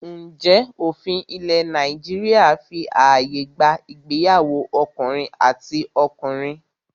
Ǹjẹ́ òfin ilẹ̀ Nàìjíríà fí ààyè gba ìgbéyàwó ọkùnrin àti ọkùnrin?